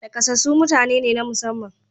Nakasassu mutane ne na musamman.